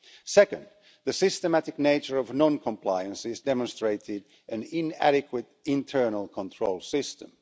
second, the systematic nature of non-compliance has demonstrated an inadequate internal control system